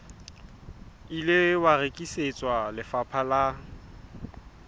ile wa rekisetswa lefapha la